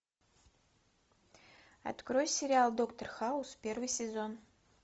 открой сериал доктор хаус первый сезон